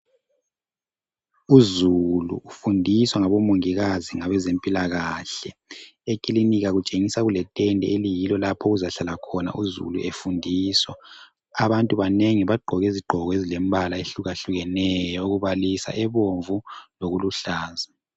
Uzulu ufundisa ngabomongikazi ngabezempilakahle ekilinika kutshengisa kuletende oliyilo lapho okuzahlala khona uzulu efundiswa. Abantu banengi bagqoke izigqoko ezilembala ehlukahlukeneyo okubalisa ebomvu lokuluhlaza.